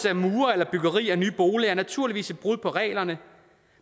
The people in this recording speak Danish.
af mure eller byggeri af nye boliger er naturligvis et brud på reglerne